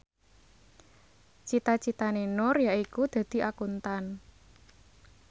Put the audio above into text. cita citane Nur yaiku dadi Akuntan